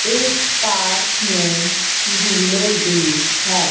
इस पार्क में झूले भी है।